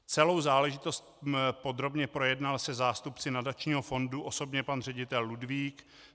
Celou záležitost podrobně projednal se zástupci nadačního fondu osobně pan ředitel Ludvík.